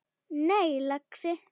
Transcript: Nei, lagsi.